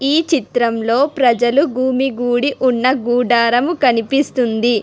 ఈ చిత్రంలో ప్రజలు భూమి గూడి ఉన్న గుడారము కనిపిస్తుంది.